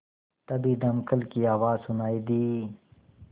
तभी दमकल की आवाज़ सुनाई दी